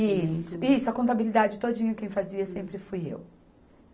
Isso, Isso a contabilidade todinha quem fazia sempre fui eu.